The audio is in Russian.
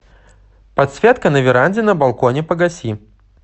подсветка на веранде на балконе погаси